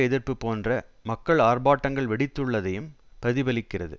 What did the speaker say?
எதிர்ப்பு போன்ற மக்கள் ஆர்ப்பாட்டங்கள் வெடித்துள்ளதையும் பிரதிபலிக்கிறது